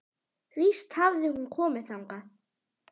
Víst hafði hún komið þangað.